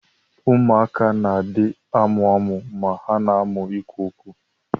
Ụmụaka na adi amụamụ ma ha na amu ikwụ okwu.